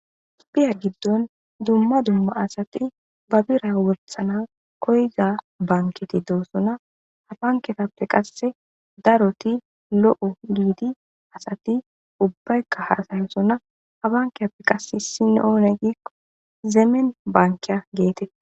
Spiya giddon dumma dumma asati babira wolsana koyza banketi doosona abanketappe qasse daroti lo7o giidi asati ubbaykka haasayosonna abankeyappe qasse sinoone giikko zeemen bankeya geete.